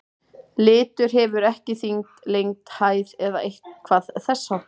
Litur hefur ekki þyngd, lengd, hæð eða eitthvað þess háttar.